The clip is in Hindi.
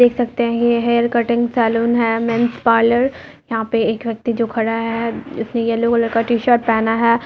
'' देख सकते हैं ये हेयर कटिंग सैलून है। मेंस पार्पर यहां पर एक व्यक्ति जो खड़ा है इसने येलो कलर का टी-शर्ट पेहेना है। ''